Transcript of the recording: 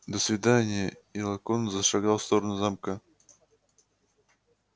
до свидания и локонс зашагал в сторону замка